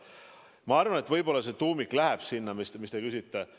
Ma arvan, et võib-olla see tuumik läheb sinna, mille kohta te küsite.